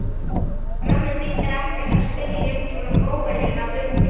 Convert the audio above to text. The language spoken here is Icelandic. Mömmu þýddi ekkert að spyrja um svona óvenjulega hluti.